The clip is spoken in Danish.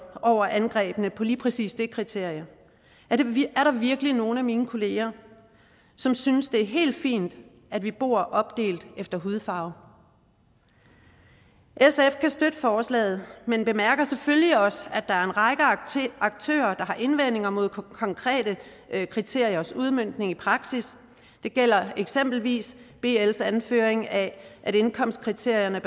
over angrebene på lige præcis det kriterie er der virkelig nogen af mine kolleger som synes det er helt fint at vi bor opdelt efter hudfarve sf kan støtte forslaget men bemærker selvfølgelig også at der er en række aktører der har indvendinger mod konkrete kriteriers udmøntning i praksis det gælder eksempelvis bls anførelse af at indkomstkriterierne